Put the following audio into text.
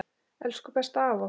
Elsku besta afa okkar.